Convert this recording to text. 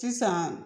Sisan